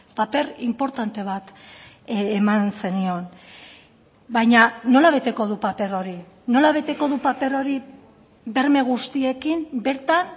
paper inportante bat eman zenion baina nola beteko du paper hori nola beteko du paper hori berme guztiekin bertan